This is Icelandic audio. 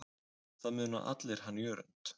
Það muna allir hann Jörund.